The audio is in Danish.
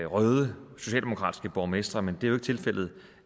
røde socialdemokratiske borgmestre men det er ikke tilfældet